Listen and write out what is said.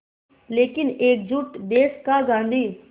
लेकिन एकजुट देश का गांधी